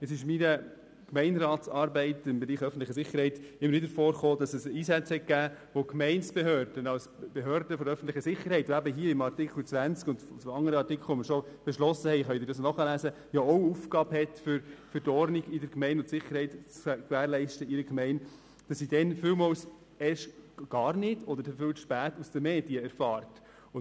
Während meiner Gemeinderatsarbeit im Bereich öffentliche Sicherheit kam es immer zu Einsätzen, von denen die Gemeindebehörden für öffentliche Sicherheit, die ebenfalls Aufgaben zur Gewährleistung von Ordnung und Sicherheit in der Gemeinde haben, oft gar nicht oder viel zu spät aus den Medien erfuhren.